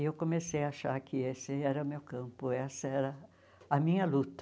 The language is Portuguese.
E eu comecei a achar que esse era o meu campo, essa era a minha luta.